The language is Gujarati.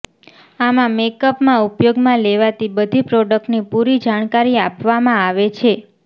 આમાં મેકઅપમાં ઉપયોગમાં લેવાતી બધી પ્રોડક્ટની પુરી જાણકારી આપવામાં આવે છે